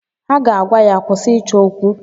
Ha ga-agwa ya, "kwụsị ịchọ okwu"!